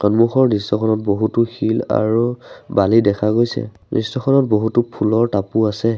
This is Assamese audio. সন্মুখৰ দৃশ্যখনত বহুতো শিল আৰু বালি দেখা গৈছে দৃশ্য খনত বহুতো ফুলৰ টাপু আছে।